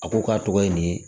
A ko k'a tɔgɔ ye nin ye